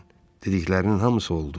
Dediklərinin hamısı oldu.